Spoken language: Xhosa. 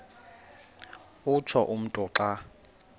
utsho umntu xa